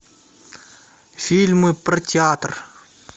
фильмы про театр